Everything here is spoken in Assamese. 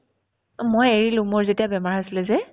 অ, মই এৰিলো মোৰ যেতিয়া বেমাৰ হৈছিলে যে